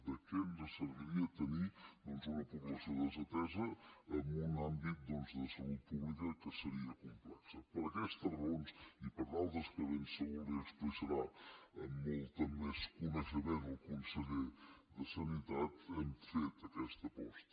de què ens serviria tenir doncs una població desatesa en un àmbit doncs de salut pública que seria complex per aquestes raons i per d’altres que ben segur li explicarà amb molt més coneixement el conseller de salut hem fet aquesta aposta